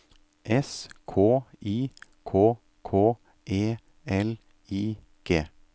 S K I K K E L I G